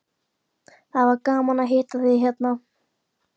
Það var gaman að hitta þig hérna.